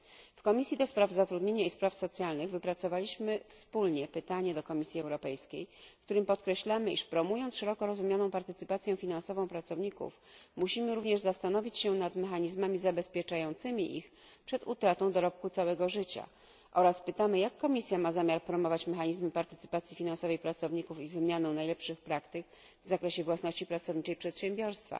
W Komisji Zatrudnienia i Spraw Socjalnych wypracowaliśmy wspólnie pytanie do Komisji Europejskiej, w którym podkreślamy, iż promując szeroko rozumianą partycypację finansową pracowników, musimy również zastanowić się nad mechanizmami zabezpieczającymi ich przed utratą dorobku całego życia oraz pytamy jak Komisja ma zamiar promować mechanizm partycypacji finansowej pracowników i wymianę najlepszych praktyk w zakresie własności pracowniczej przedsiębiorstwa,